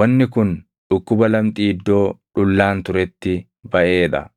Wanni kun dhukkuba lamxii iddoo dhullaan turetti baʼee dha.